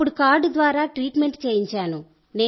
అప్పుడు కార్డు ద్వారా ట్రీట్మెంట్ చేయించాను